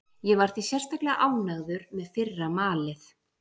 Ég var því sérstaklega ánægður með fyrra malið.